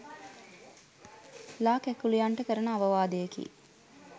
ලා කැකුලියන්ට කරන අවවාදයකි